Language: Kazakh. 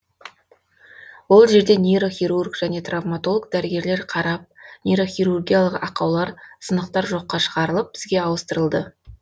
ол жерде нейрохирург және травмотолог дәрігерлер қарап нейрохирургиялық ақаулар сынықтар жоққа шығарылып бізге ауыстырылды